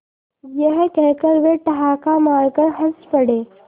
यह कहकर वे ठहाका मारकर हँस पड़े